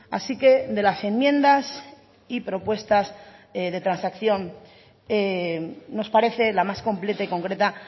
así que de las enmiendas y propuestas de transacción nos parece la más completa y concreta